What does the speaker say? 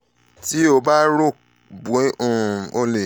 ti o ba ro pe um o le